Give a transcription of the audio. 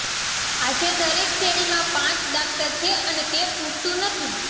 આજે દરેક શેરીમાં પાંચ દાક્તર છે અને તે પૂરતું નથી